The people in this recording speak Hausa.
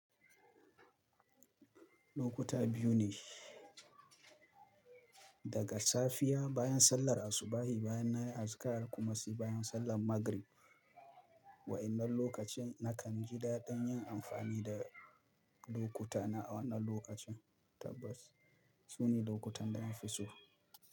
Lokuta biyu ne. Daga safiya bayan sallar asubahi, bayan na yi azikar kuma sai bayan sallar maghrib. Wa'innan lokacin nakan ji daɗin yin amfani da lokutana a wannan lokacin. Tabbas, su ne lokutan da na fi so.